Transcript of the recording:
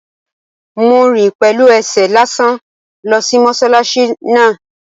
Mo rìn pẹ̀lú ẹsẹ̀ lásán lọ sí mọ́sálásí náà